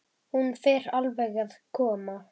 Hún fer alveg að koma.